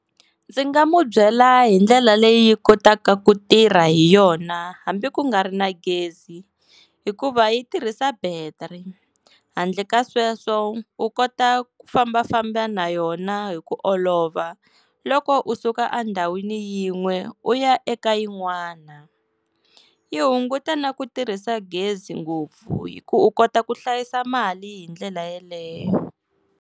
Ndzi nga mu byela hi ndlela leyi kotaka ku tirha hi yona hambi ku nga ri na gezi hikuva yi tirhisa battery handle ka sweswo u kota ku fambafamba na yona hi ku olova loko u suka endhawini yin'we u ya eka yin'wana yi hunguta na ku tirhisa gezi ngopfu hi ku u kota ku hlayisa mali hi ndlela yeleyo.